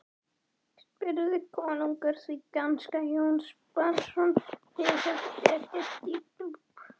spurði konungur því danska Jóns Bjarnasonar var honum illskiljanleg.